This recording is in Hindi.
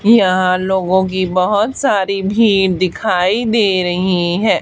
यहाँ लोगों की बहोत सारी भीड़ दिखाई दे रहीं हैं।